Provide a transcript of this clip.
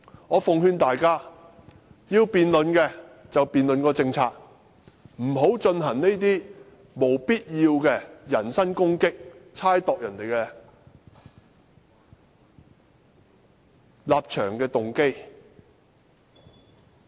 我奉勸大家，要辯論便辯論政策，不要進行這些沒有必要的人身攻擊，猜度別人的立場和動機。